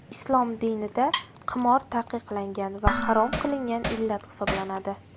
Islom dinida qimor taqiqlangan va harom qilingan illat hisoblanadi.